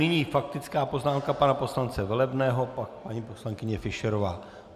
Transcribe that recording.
Nyní faktická poznámka pana poslance Velebného, pak paní poslankyně Fischerová.